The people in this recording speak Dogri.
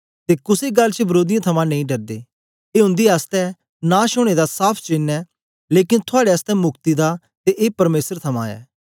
ते कुसे गल्ल च विरोधीयें थमां नेई डरदे ए उन्दे आसतै नाश ओनें दा साफ़ चेन्न ऐ लेकन थुआड़े आसतै मुक्ति दा ते ए परमेसर थमां ऐ